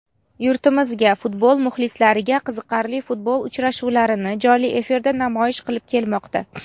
yurtimizga futbol muxlislariga qiziqarli futbol uchrashuvlarini jonli efirda namoyish qilib kelmoqda.